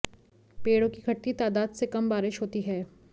पेड़ों की घटती तादाद से कम बारिश होती है